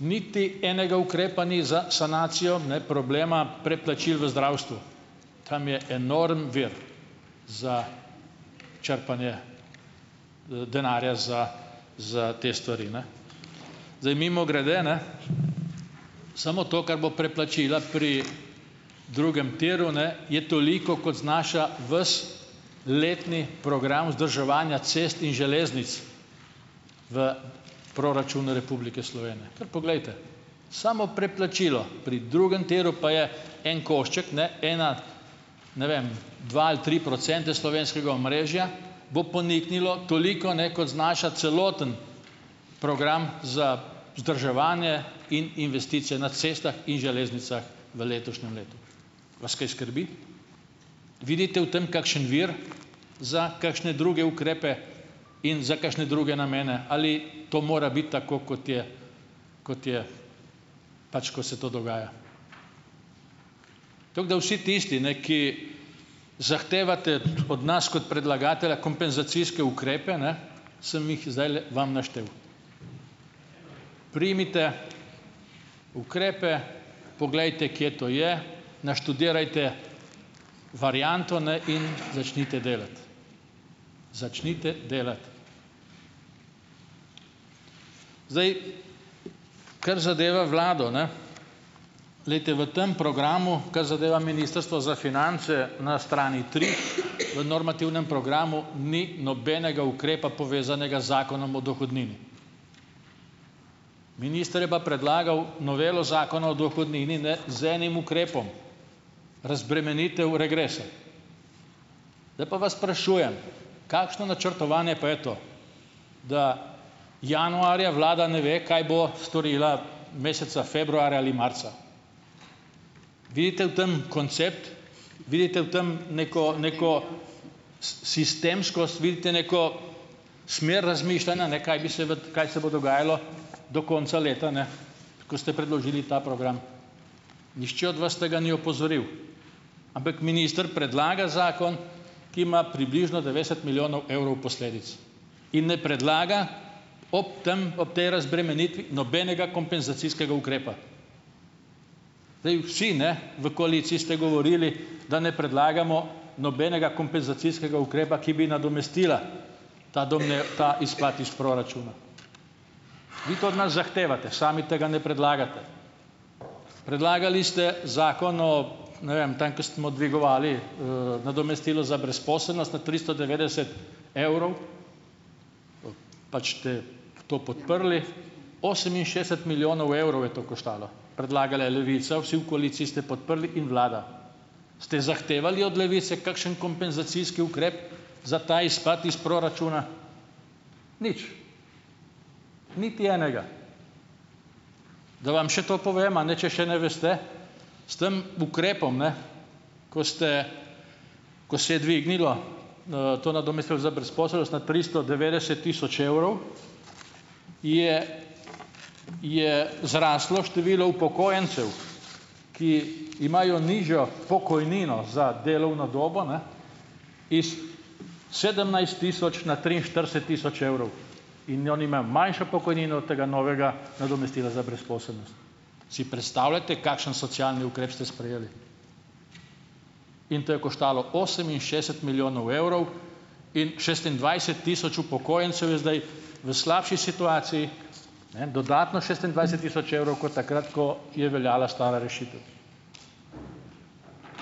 niti enega ukrepa ni za sanacijo ne problema predplačil v zdravstvu, tam je enormen vir za črpanje denarja za za te stvari, ne, zdaj mimogrede, ne, samo to, kar bo predplačila pri drugem tiru, ne, je toliko, kot znaša ves letni program vzdrževanja cest in železnic v proračunu Republike Slovenije, kar poglejte samo predplačilo, pri drugem tiru pa je en košček, ne, ena ne vem dva ali tri procente slovenskega omrežja bo poniknilo, toliko, ne, kot znaša celoten program za vzdrževanje in investicije na cestah in železnicah v letošnjem letu, vas kaj skrbi, vidite v tem kakšen vir za kakšne druge ukrepe in za kakšne druge namene, ali to mora biti tako, kot je, kot je, pač ko se to dogaja, tako da vsi tisti, ne, ki zahtevate od nas kot predlagatelja kompenzacijske ukrepe, ne, sem jih zdajle vam naštel, primite ukrepe, poglejte, kje to je, naštudirajte varianto, ne, in začnite delati, začnite delati, zdaj, kar zadeva vlado, ne, glejte, v tem programu, kar zadeva ministrstvo za finance, na strani tri v normativnem programu ni nobenega ukrepa, povezanega z zakonom od dohodnine, minister je pa predlagal novelo zakona o dohodnini ne z enim ukrepom razbremenitev v regrese, zdaj pa vas sprašujem, kakšno načrtovanje pa je to, da januarja vlada ne ve, kaj bo storila meseca februarja ali marca, vidite v tem koncept, vidite v tem neko neko sistemskost, vidite neko smer razmišljanja, ne, kaj bi se kaj se bo dogajalo do konca leta, ne, ko ste predložili ta program, nihče od vas tega ni opozoril, ampak minister predlaga zakon, ki ima približno dvajset milijonov evrov posledic, in ne predlaga ob tem ob tej razbremenitvi nobenega kompenzacijskega ukrepa, zdaj vsi, ne, v koaliciji ste govorili da ne predlagamo nobenega kompenzacijskega ukrepa, ki bi nadomestil, ta dogne ta izpad iz proračuna, vi to od nas zahtevate, sami tega ne predlagate, predlagali ste zakon o ne vem tam, ko smo dvigovali nadomestilo za brezposelnost na tristo devetdeset evrov, pač te v to podprli oseminšestdeset milijonov evrov je to koštalo, predlaga le Levica, vsi v koaliciji ste podprli, in vlada ste zahtevali od Levice kakšen kompenzacijski ukrep za ta izpad iz proračuna, nič, niti enega, da vam še to povem, a ne, če še ne veste, s tam ukrepom, ne, ko ste, ko se je dvignilo to nadomestilo za brezposelnost na tristo devetdeset tisoč evrov, je je zraslo število upokojencev, ki imajo nižjo pokojnino za delovno dobu, ne, iz sedemnajst tisoč na triinštirideset tisoč evrov in oni imajo manjšo pokojnino od tega novega nadomestila za brezposelnost, si predstavljate, kakšen socialni ukrep ste sprejeli, in to je koštalo oseminšestdeset milijonov evrov in šestindvajset tisoč upokojencev je zdaj v slabši situaciji, ne, dodatno šestindvajset tisoč evrov kot takrat, ko je veljala stara rešitev,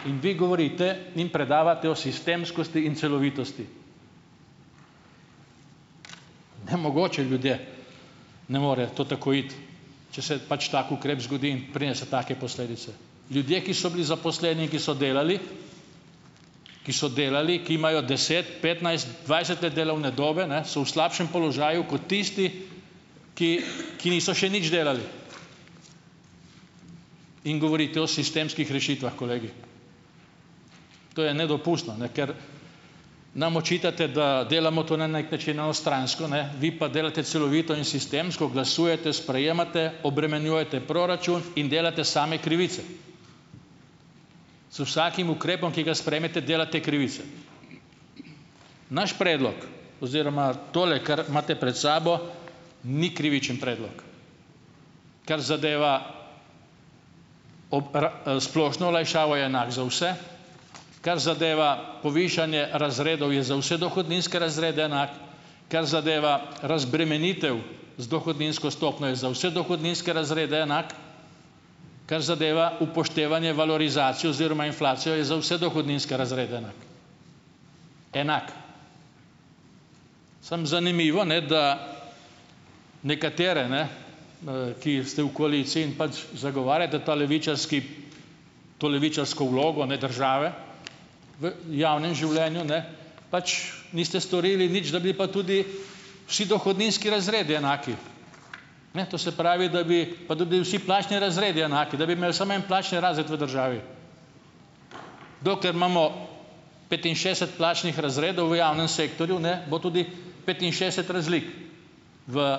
in vi govorite in predavate o sistemskosti in celovitosti, nemogoče, ljudje, ne more to tako iti, če se pač tako ukrep zgodi, preden so take posledice, ljudje, ki so bili zaposleni, ki so delali, ki so delali, ki imajo deset petnajst dvajset let delovne dobe, ne, so v slabšem položaju kot tisti, ki ki niso še nič delali, in govorite o sistemskih rešitvah, kolegi, to je nedopustno, ne, ker nam očitate, da delamo to na neki način na ustransko, ne, vi pa delate celovito in sistemsko glasujete, sprejemate, obremenjujete proračun in delate same krivice z vsakim ukrepom, ki ga sprejmete, delate krivico, naš predlog oziroma tole, kar imate pred sabo, ni krivične predlog, kar zadeva splošno olajšavo, je enak za vse, kar zadeva povišanje razredov, je za vse dohodninske razrede enak, kar zadeva razbremenitev z dohodninsko stopnjo, je za vse dohodninske razrede enak, kar zadeva upoštevanje valorizacije oziroma inflacije, je za vse dohodninske razrede enak, enak, samo zanimivo, ne, da nekatere, ne, ki ste v koaliciji in pač zagovarjate ta levičarski, to levičarsko vlogo, ne, države v javnem življenju, ne, pač niste storili nič, da bi pa tudi vsi dohodninski razredu enaki, ne, to se pravi, da bi pa da bi bili vsi plačni razredi enaki, da bi imeli samo en plačni razred v državi, dokler imamo petinšestdeset plačnih razredov v javnem sektorju, ne bo tudi petinšestdeset razlik v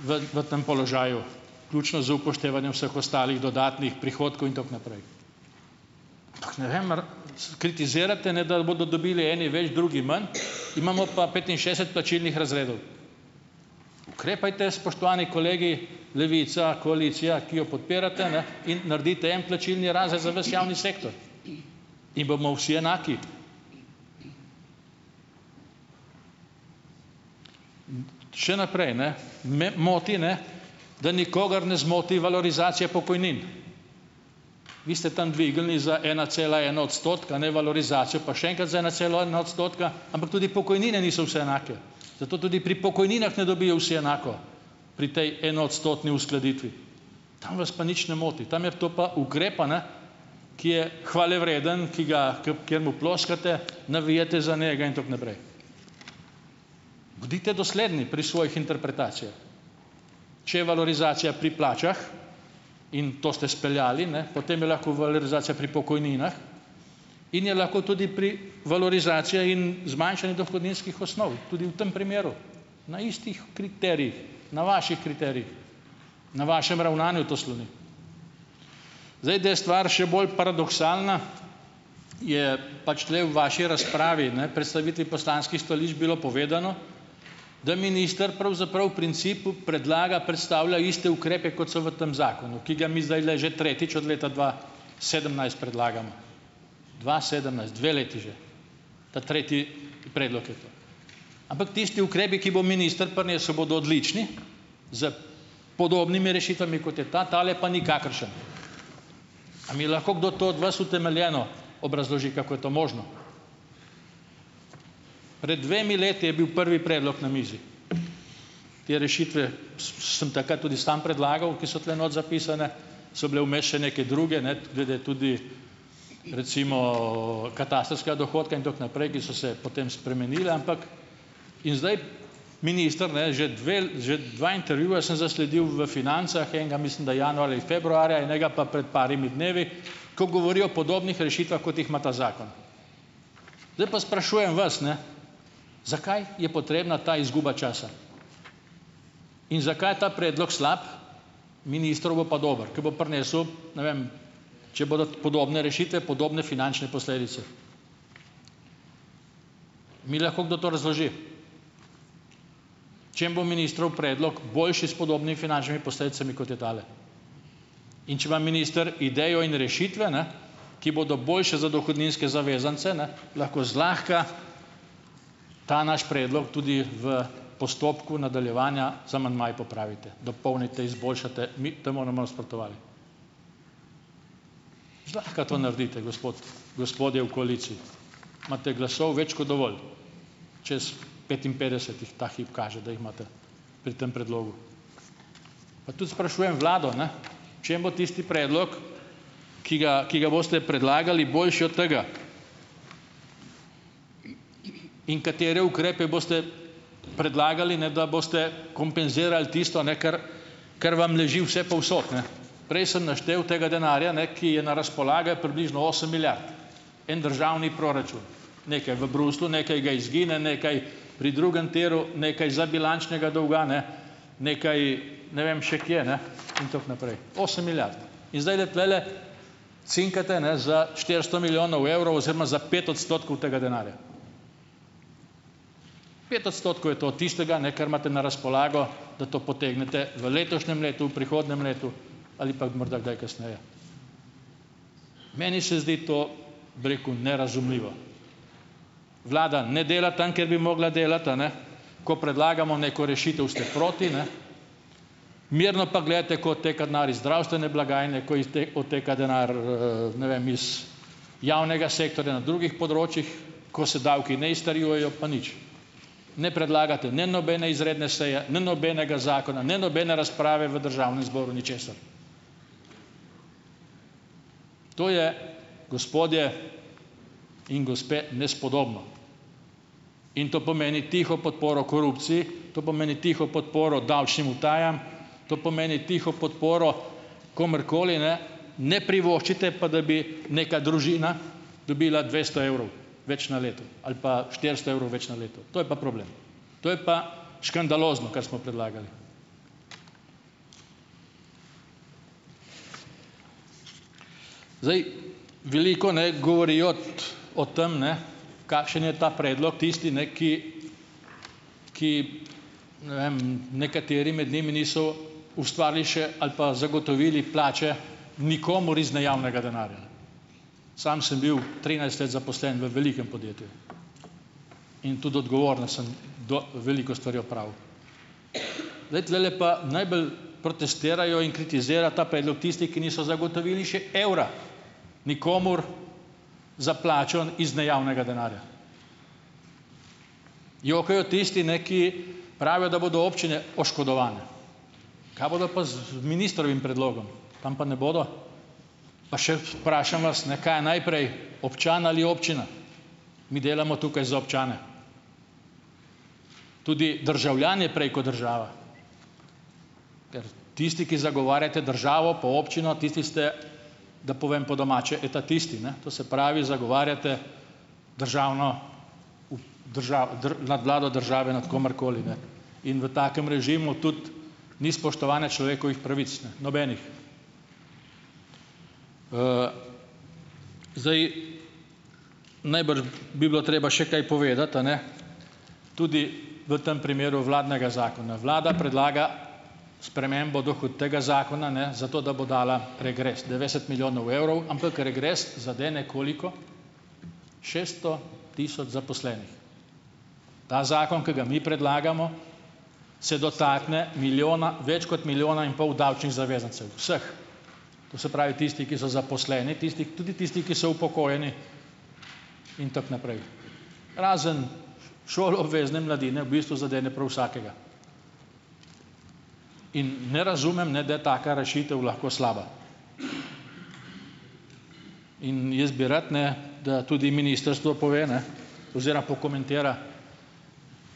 v v tem položaju, ključno z upoštevanjem vseh ostalih dodatnih prihodkov in tako naprej, kritizirate, ne da bodo dobili eni več drugi manj, imamo pa petinšestdeset plačilnih razredov, ukrepajte, spoštovani kolegi, Levica, koalicija, ki jo podpirate, ne, in naredite en plačilni razred za vas javni sektor in bomo vsi enaki še naprej, ne, me moti, ne, da nikogar ne zmoti valorizacija pokojnin, vi ste tam dvignili za ena cela ena odstotka, ne, valorizacijo pa še enkrat za ena cela ena odstotka, ampak tudi pokojnine niso vse enake, zato tudi pri pokojninah ne dobijo vsi enako, pri tej enoodstotni uskladitvi, tam vas pa nič ne moti, tam je to pa ukrep, a ne, ki je hvalevreden, ki ga kaj mu ploskate navijate za njega in tako naprej bodite dosledni pri svojih interpretacijah, če je valorizacija pri plačah, in to ste speljali, ne, potem je lahko valorizacija pri pokojninah in je lahko tudi pri valorizacija in zmanjšanje dohodninskih osnov tudi v tem primeru na istih kriterijih, na vaših kriterijih, na vašem ravnanju to sloni, zdaj, da je stvar še bolj paradoksalna, je pač tule v vaši razpravi, ne, predstavitvi poslanskih stališč bilo povedano, da minister pravzaprav principu predlaga, predstavlja iste ukrepe, kot so v tem zakonu, ki ga mi zdajle že tretjič od leta dva sedemnajst predlagamo, dva sedemnajst dve leti že, ta tretji predlog je to, ampak tisti ukrepi, ki bo minister prinesel, bodo odlični, s podobnimi rešitvami, kot je ta, tale je pa nikakršen, a mi lahko kdo to od vas utemeljeno obrazloži, kako je to možno, pred dvemi leti je bil prvi predlog na mizi te rešitve, sem takrat tudi sam predlagal, ki so tule notri zapisane, so bile vmes še neke druge, ne, glede tudi recimo katastrskega dohodka in tako naprej, ki so se potem spremenile, ampak in zdaj minister, ne, že dve že dva intervjuja sem zasledil v Financah, enega, mislim, da januarja in februarja, enega pa pred par dnevi, ko govori o podobnih rešitvah, kot jih ima ta zakon, zdaj pa sprašujem vas, ne, zakaj je potrebna ta izguba časa in zakaj je ta predlog slab, ministrov bo pa dober, ke bo prinesel, ne vem, če bodo podobne rešitve podobne finančne posledice, mi lahko kdo to razloži, če jim bo ministrov predlog boljši s podobnimi finančnimi posledicami, kot je tale, in če ima minister idejo in rešitve, ne, ki bodo boljše za dohodninske zavezance, ne, lahko zlahka ta naš predlog tudi v postopku nadaljevanja z amandmaji popravite, dopolnite, izboljšate, zlahka to naredite, gospod, gospodje v koaliciji, imate glasov več kot dovolj čez petinpetdeset jih ta hip kaže, da jih imate pri tem predlogu, pa tudi sprašujem vlado, ne, če bo tisti predlog, ki ga, ki ga boste predlagali, boljši od tega, in katere ukrepe boste predlagali, ne, da boste kompenzirali tisto, ne, kar kar vam leži vsepovsod, ne, prej sem naštel tega denarja, ne, ki je na razpolago je približno osem milijard, en državni proračun, nekaj v Bruslju, nekaj ga izgine, nekaj pri drugem tiru, nekaj za bilančnega dolga, ne, nekaj ne vem še kje, ne, in tako naprej, osem milijard, in zdajle tulele cinkate ne za štiristo milijonov evrov oziroma za pet odstotkov tega denarja, pet odstotkov je to od tistega, ne, kar imate na razpolago, da to potegnete v letošnjem letu, v prihodnjem letu ali pa morda kdaj kasneje, meni se zdi to, bi rekel, nerazumljivo vlada ne dela tam, kjer bi morala delati, a ne ko predlagamo neko rešitev, ste proti, ne, mirno pa gledate, ko odteka denar iz zdravstvene blagajne, ko odteka denar, ne vem, iz javnega sektorja na drugih področjih, ko se davki ne izterjujejo, pa nič ne predlagate, ne, nobene izredne seje, ne, nobenega zakona, ne, nobene razprave v državnem zboru, ničesar, to je gospodje in gospe, nespodobno, in to pomeni tiho podporo korupciji, to pomeni tiho podporo davčnim utajam, to pomeni tiho podporo komurkoli, ne, ne privoščite pa, da bi neka družina dobila dvesto evrov več na leto ali pa štiristo evrov več na leto, to je pa problem, to je pa škandalozno, kar smo predlagali, zdaj veliko ne govorijo o tem, ne, kakšen je ta predlog tisti, ne, ki ki ne vem nekateri med njimi niso ustvarili še ali pa zagotovili plače nikomur iz nejavnega denarja, sam sem bil trinajst let zaposlen v velikem podjetju in tudi odgovorno sem veliko stvari opravil, zdaj tulele pa najbolj protestirajo in kritizira ta predlog tisti, ki niso zagotovili še evra nikomur za plačo iz nejavnega denarja, jokajo tisti, ne, ki pravijo, da bodo občine oškodovane, kaj bodo pa z ministrovim predlogom, tam pa ne bodo, pa še vprašam vas, ne, kaj je najprej občan ali občina, mi delamo tukaj za občane, tudi državljan je prej ko država, tisti, ki zagovarjate državo pa občino, tisti ste, da povem po domače, etatisti, ne, to se pravi zagovarjate državno nadvlado države nad komer koli, ne, in v takem režimu tudi ni spoštovanja človekovih pravic, ne, nobenih zdaj bi bilo treba še kaj povedati, a ne, tudi v tem primeru vladnega zakona vlada predlaga spremembo dohutega zakona, ne, zato da bo dala regres dvajset milijonov evrov, ampak regres zadene koliko šeststo tisoč zaposlenih, ta zakon, ki ga mi predlagamo, se dotakne milijona več kot milijona in pol davčnih zavezancev vseh, to se pravi tisti, ki so zaposleni, tisti, tudi tisti, ki so upokojeni, in tako naprej razen šoloobvezne mladine v bistvu zadene prav vsakega in ne razumem, ne, da je taka rešitev lahko slaba, in jaz bi rad, ne, da tudi ministrstvo pove, ne, oziroma pokomentira,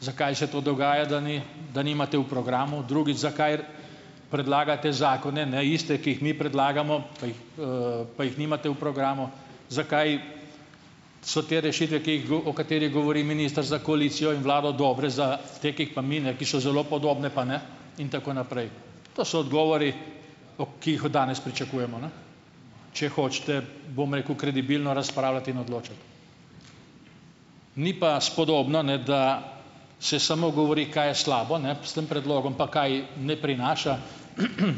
zakaj se to dogaja, da ni, da nimate v programu, drugič, zakaj predlagate zakone, ne, iste, ki jih mi predlagamo, pej pa jih nimate v programu, zakaj so te rešitve, ki jih o katerih govori minister, za koalicijo in vlado dobre, za te, ki jih pa mi, ne, ki so zelo podobne, pa ne in tako naprej, to so odgovori, o ki jih od danes pričakujemo, ne, če hočete, bom rekel, kredibilno razpravljati in odločati, ni pa spodobno, ne, da se samo govori kaj je slabo, ne, s tem predlogom pa kaj ne prinaša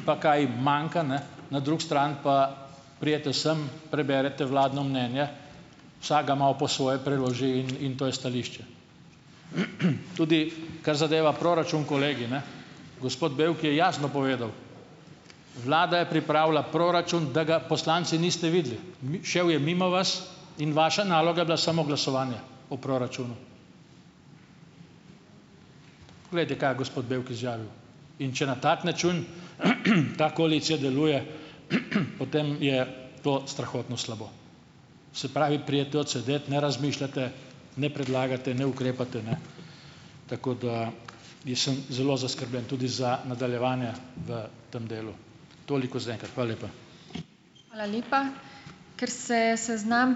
pa kaj manjka, ne, na drugi strani pa pridete sem, preberete vladno mnenje, vsak ga malo po svoje priloži in in to je stališče, tudi kar zadeva proračun, kolegi, ne, gospod Bevk je jasno povedal, vlada je pripravila proračun, da ga poslanci niste videli, šev je mimo vas in vaša naloga je bila samo glasovanje o proračunu, povejte, kaj je gospod Bevk izjavil, in če na tak način ta koalicija deluje, potem je to strahotno slabo, se pravi pridete odsedet, ne razmišljate, ne predlagate, ne ukrepate, ne, tako da jaz sem zelo zaskrbljen tudi za nadaljevanje. V tem delu. toliko zaenkrat, hvala lepa. Hvala lepa. Ker se je seznam ...